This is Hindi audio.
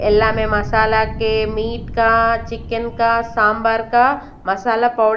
इला में मसाला के मीट का चिकन का सांबार का मसाला पाउडर--